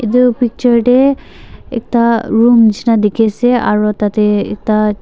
etu picture te ekta room nisna dekhi ase aru tarte ekta--